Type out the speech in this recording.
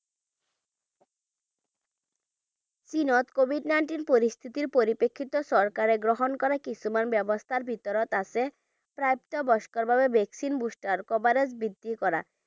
চীনত covid nineteen পৰিস্থিতিৰ প্ৰৰিপ্ৰেক্ষিতত চৰকাৰে গ্ৰহণ কৰা কিছুমান ব্যৱস্থাৰ ভিতৰত আছে প্ৰাপ্তবয়স্কৰ বাবে vaccine booster ৰ coverage বৃদ্ধি কৰা।